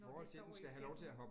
Når de sover i sengen